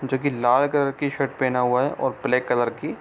जो कि लाल कलर की शर्ट पहना हुआ है और ब्लैक कलर की --